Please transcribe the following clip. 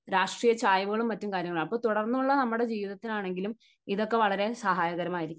രാഷ്ട്രീയ ചായ്‌വുകൾ മറ്റു കാര്യങ്ങളും ഉണ്ടാകും. അപ്പോൾ തുടർന്നുള്ള നമ്മുടെ ജീവിതത്തിന് ആണെങ്കിലും ഇതൊക്കെ വളരെ സഹായകരമായിരിക്കും.